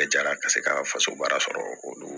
Bɛɛ jara ka se ka faso baara sɔrɔ olu